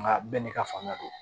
Nka bɛɛ n'i ka fanga do